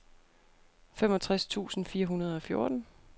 femogtres tusind fire hundrede og fjorten